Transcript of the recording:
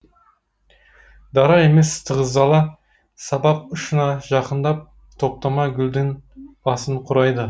дара емес тығыздала сабақ ұшына жақындап топтама гүлдің басын құрайды